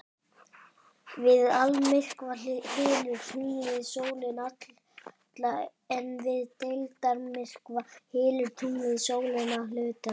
Við almyrkva hylur tunglið sólina alla en við deildarmyrkva hylur tunglið sólina að hluta til.